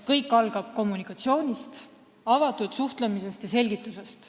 Kõik algab kommunikatsioonist, avatud suhtlemisest ja selgitustest.